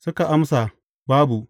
Suka amsa, Babu.